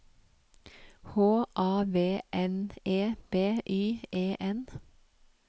H A V N E B Y E N